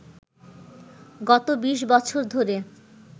গত ২০ বছর ধরে